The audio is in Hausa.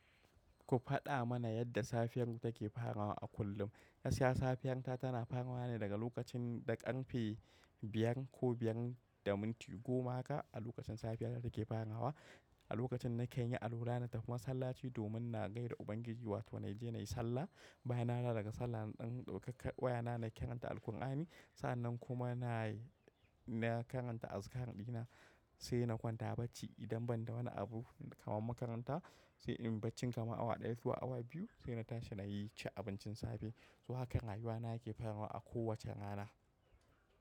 Ku faɗa mana yadda safiyar ku take farawa a kullum. Gaskiya safiyanta ta tana farawa ne daga lokacin da ƙarfe biyar ko biyar da minti goma haka a lokacin safiya ta take farawa. A lokacin na kanyi alwala, na tafi masallaci domin na gaida Ubangiji wato na je na yi sallah. Bayan na dawo daga sallah, in ɗan ɗauka ka waya na, na karanta Alkur'ani. Sa'annan kuma nayi na karanta azkar ɗina sai na kwanta bacci idan banda wani abu kaman makaranta sai inyi baccin kama awa ɗaya ko awa biyu, sai na tashi na yi ci abincin safe. To, hakan rayuwana yake faruwa a kowace rana.